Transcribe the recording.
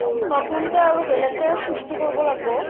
নতুন কৈ আৰু বেলেগকে সৃষ্টি কৰব লাগব